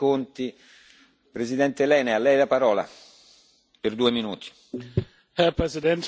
Herr Präsident, meine Damen und Herren Abgeordnete, Herr Kommissar, Frau Ministerin!